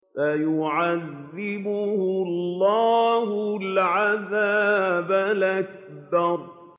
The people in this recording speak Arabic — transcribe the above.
فَيُعَذِّبُهُ اللَّهُ الْعَذَابَ الْأَكْبَرَ